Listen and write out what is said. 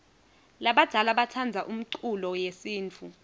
labadzala batsandza umculo yesintfu